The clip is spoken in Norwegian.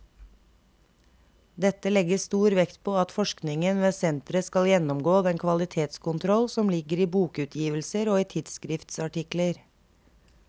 Dette legges stor vekt på at forskningen ved senteret skal gjennomgå den kvalitetskontroll som ligger i bokutgivelser og i tidsskriftsartikler.